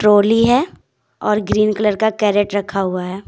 होली है और green colour का कैरेट रखा हुआ हैं।